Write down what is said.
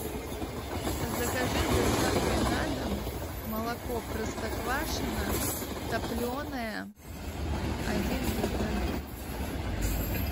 закажи с доставкой на дом молоко простоквашино топленое один литр